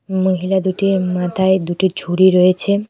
মহিলা দুটির মাথায় দুটি ঝুড়ি রয়েছে।